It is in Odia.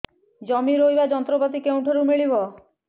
ଜମି ରୋଇବା ଯନ୍ତ୍ରପାତି କେଉଁଠାରୁ ମିଳିବ